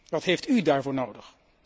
Wat hebt u daarvoor nodig?